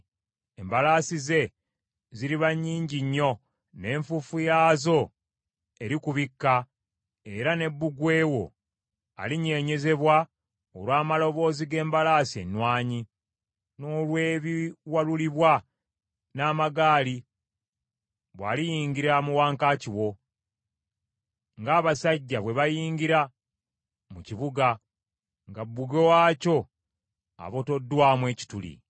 Embalaasi ze ziriba nnyingi nnyo, n’enfuufu yaazo erikubikka era ne bbugwe wo alinyeenyezebwa olw’amaloboozi g’embalaasi ennwanyi, n’olw’ebiwalulibwa n’amagaali bw’aliyingira mu wankaaki wo, ng’abasajja bwe bayingira mu kibuga, nga bbugwe waakyo abotoddwamu ekituli.